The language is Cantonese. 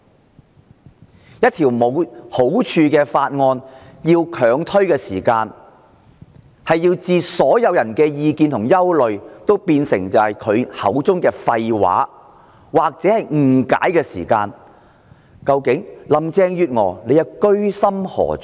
她要強推一項沒有好處的法案，等同將所有人的意見和憂慮變成她口中的廢話或誤解，究竟林鄭月娥的居心何在？